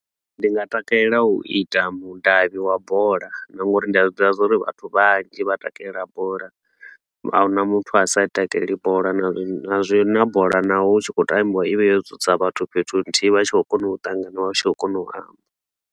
Ndi nga takalela u ita mudavhi wa bola na nga uri ndi a zwi ḓivha zwa uri vhathu vhanzhi vha takalela bola. A hu na muthu a sa i takaleli bola, na zwi na bola naho hu tshi khou tambiwa i vha yo dzudza vhathu fhethu nthihi vha tshi khou kona u ṱangana vha tshi khou kona u amba.